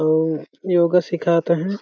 अउ योगा सिखात अहे।